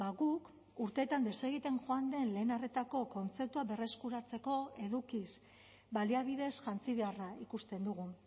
guk urteetan desegiten joan den lehen arretako kontzeptua berreskuratzeko edukiz baliabideez jantzi beharra ikusten dugu